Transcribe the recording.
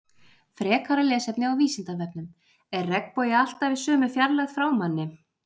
frekara lesefni á vísindavefnum er regnbogi alltaf í sömu fjarlægð frá manni